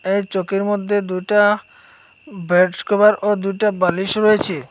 এই চৌকির মধ্যে দুইটা বেডকভার ও দুইটা বালিশ রয়েছে।